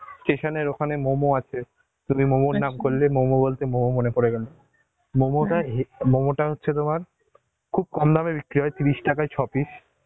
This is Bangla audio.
station এর ওখানে momo আছে, তুমি momo র নাম করলে momo বলতে momo মনে পরে গেলো, মমতা হে~ momo টা হচ্ছে তোমার, খুব কম দাম এ বিক্রি হয়, তিরিশ টাকায় ছ পিস